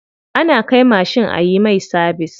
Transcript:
Ana kai mashin ayi mai sabis.